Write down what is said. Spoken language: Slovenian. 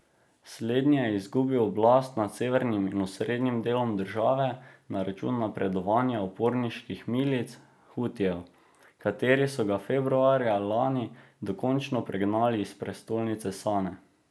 Slednji je izgubil oblast nad severnim in osrednjim delom države na račun napredovanja uporniških milic hutijev, kateri so ga februarja lani dokončno pregnali iz prestolnice Sane.